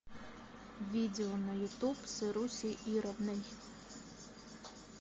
видео на ютуб с ирусей ировной